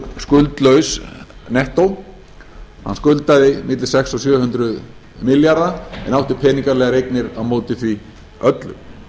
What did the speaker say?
skuldlaus nettó hann skuldaði milli sex hundruð og sjö hundruð milljarða en átti peningalegar eignir á móti því öllu